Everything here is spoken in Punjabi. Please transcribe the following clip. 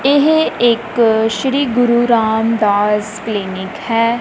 ਇਹ ਇੱਕ ਸ਼੍ਰੀ ਗੁਰੂ ਰਾਮਦਾਸ ਕਲੀਨਿਕ ਹੈ।